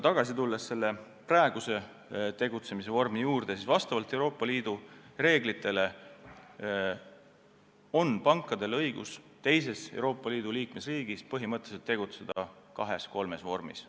Mis puutub praegusesse tegutsemisvormi, siis vastavalt Euroopa Liidu reeglitele on pankadel õigus teises Euroopa Liidu liikmesriigis tegutseda kahes-kolmes vormis.